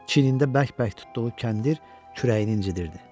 Çiyinində bərk-bərk tutduğu kəndir kürəyini incitirdi.